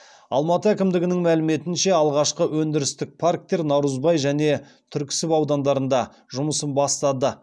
алматы әкімдігінің мәліметінше алғашқы өндірістік парктер наурызбай және түрксіб аудандарында жұмысын бастады